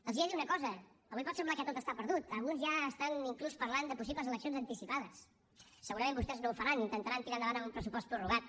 els he de dir una cosa avui pot semblar que tot està perdut alguns ja estan inclús parlant de possibles eleccions anticipades segurament vostès no ho faran i intentaran tirar endavant amb un pressupost prorrogat